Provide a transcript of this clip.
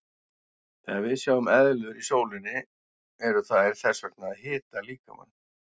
Þegar við sjáum eðlur í sólinni eru þær þess vegna að hita líkamann.